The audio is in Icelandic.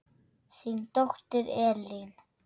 Þín dóttir Elín.